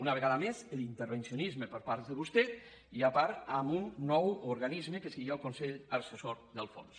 una vegada més l’intervencionisme per part de vostès i a part amb un nou organisme que seria el consell assessor del fons